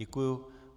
Děkuju.